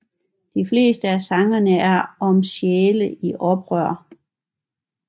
De fleste af sangene er om sjæle i oprør